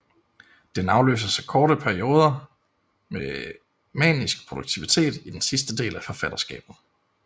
Den afløses af kortere perioder med manisk produktivitet i den sidste del af forfatterskabet